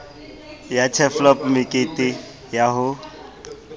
ya turfloop mekete ya ho